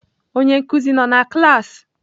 Onye nkuzi nọ na klaasị?